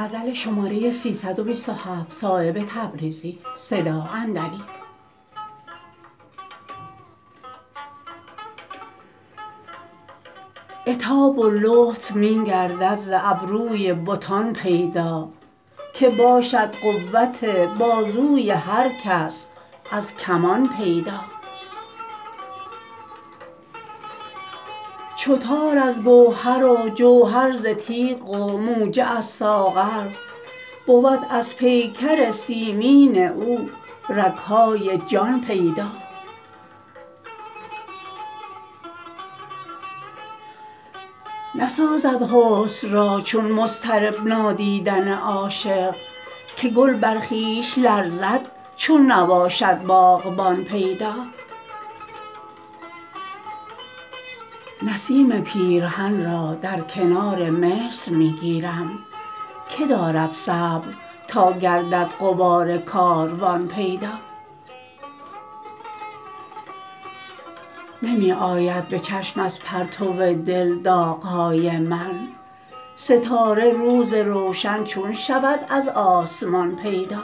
عتاب و لطف می گردد ز ابروی بتان پیدا که باشد قوت بازوی هر کس از کمان پیدا چو تار از گوهر و جوهر ز تیغ و موجه از ساغر بود از پیکر سیمین او رگ های جان پیدا نسازد حسن را چون مضطرب نادیدن عاشق که گل بر خویش لرزد چون نباشد باغبان پیدا نسیم پیرهن را در کنار مصر می گیرم که دارد صبر تا گردد غبار کاروان پیدا نمی آید به چشم از پرتو دل داغهای من ستاره روز روشن چون شود از آسمان پیدا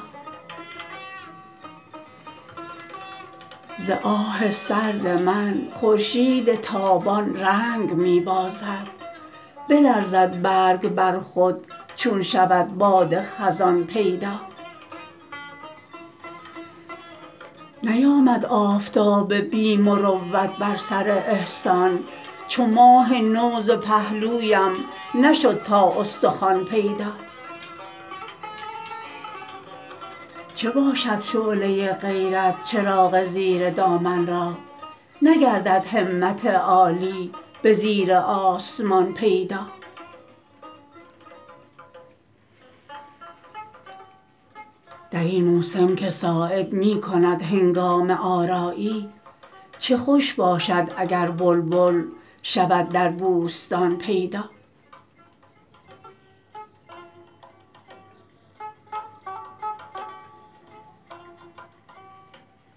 ز آه سرد من خورشید تابان رنگ می بازد بلرزد برگ بر خود چون شود باد خزان پیدا نیامد آفتاب بی مروت بر سر احسان چو ماه نو ز پهلویم نشد تا استخوان پیدا چه باشد شعله غیرت چراغ زیر دامن را نگردد همت عالی به زیر آسمان پیدا درین موسم که صایب می کند هنگامه آرایی چه خوش باشد اگر بلبل شود در بوستان پیدا